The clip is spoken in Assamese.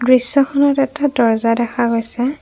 দৃশ্যখনত এটা দর্জা দেখা গৈছে।